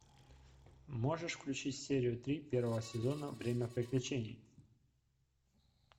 можешь включить серию три первого сезона время приключений